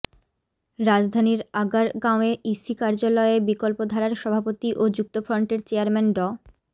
রাজধানীর আগারগাঁওয়ে ইসি কার্যালয়ে বিকল্পধারার সভাপতি ও যুক্তফ্রন্টের চেয়ারম্যান ড